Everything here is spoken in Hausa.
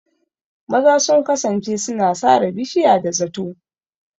Maza sun kasance suna sare bishiya da zato.